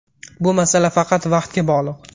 Bu masala faqat vaqtga bog‘liq!